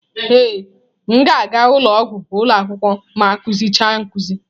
Ee m ga-aga ụlọ ọgwụ ụlọ akwụkwọ ma akụzi cha nkuzi.